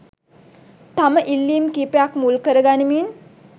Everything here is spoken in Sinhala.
තම ඉල්ලීම් කීපයක් මුල් කරගනිමින්